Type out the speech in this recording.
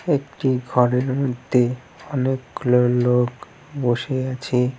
একটি ঘরের মধ্যে অনেকগুলো লোক বসে আছে।